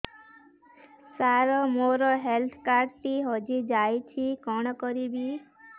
ସାର ମୋର health card ଟି ହଜି ଯାଇଛି କଣ କରିବି